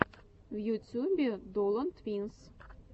в ютюбе долан твинс